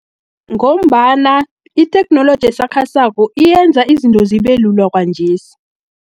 Ngombana itheknoloji esakhasako, iyenza izinto zibelula kwanjesi.